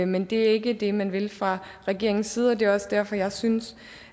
men det er ikke det man vil fra regeringens side og det er også derfor jeg synes